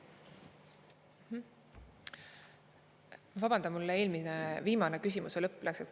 Vabandan, mul küsimuse viimane lõpp läks kaduma.